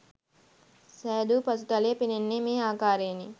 සෑදූ පසුතලය පෙනෙන්නේ මේ ආකාරයෙනි.